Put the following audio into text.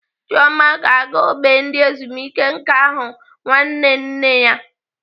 Chioma ga-aga ógbè ndị ezumike nká ahụ nwanne nne ya.